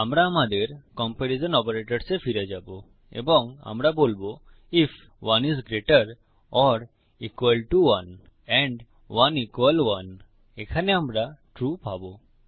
আমরা আমাদের comparison operators এ ফিরে যাবো এবং আমরা বলবো if 1 is greater or equal to 1 and 1 equal 1 if ১ ১ এর থেকে বড় বা সমান হয় এন্ড ১ ১ এর সমান হয় এখানে আমরা ট্রু পাবো